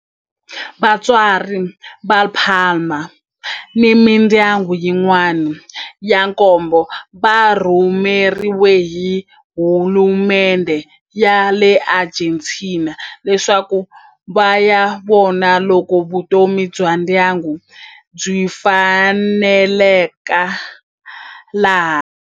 Vatswari va Palma ni mindyangu yin'wana ya nkombo va rhumeriwe hi hulumendhe ya le Argentina leswaku va ya vona loko vutomi bya ndyangu byi faneleka laha.